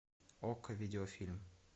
окко видеофильм